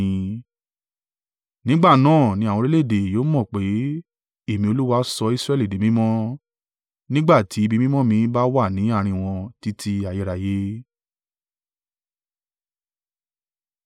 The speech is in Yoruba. Nígbà náà ni àwọn orílẹ̀-èdè yóò mọ̀ pé, Èmi Olúwa sọ Israẹli di mímọ́, nígbà tí ibi mímọ́ mi bá wà ní àárín wọn títí ayérayé.’ ”